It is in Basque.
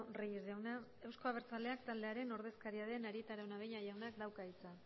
reyes jauna euzko abertzaleak taldearen ordezkaria den arieta araunabeña jaunak dauka hitza